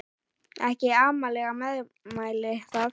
Ekki amaleg meðmæli það.